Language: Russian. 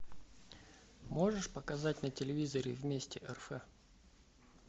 можешь показать на телевизоре вместе рф